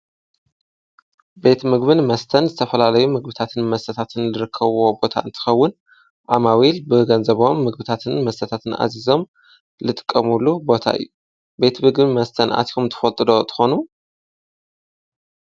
ቤቲ ምግብን መስተን ዝተፈላለዩ ምግብታትን መሰታትን ልርከዎ ቦታ እንትኸውን ኣማዊኢል ብህገንዘበም ምግብታትን መሰታትን ኣዚዞም ልጥቀሙሉ ቦታ እዩ ቤቲ ብግም መስተን ኣቲሆም ትፈልጥዶ ተኾኑ